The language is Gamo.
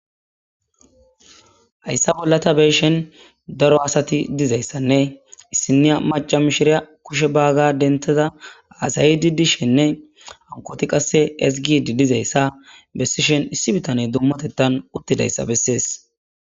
hayssa bolla ta be'ishin daro asati dizayssanne issiniya maca mishiriya kushe bagaa dentada hasayidi dishenne bankoti qasse ezgidi dizayssa bessishen issi bitane dummotettan uttidayssa bessees